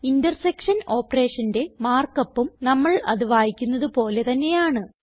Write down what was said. intersection operationന്റെ markupഉം നമ്മൾ അത് വായിക്കുന്നത് പോലെ തന്നെയാണ്